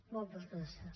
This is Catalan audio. moltes gràcies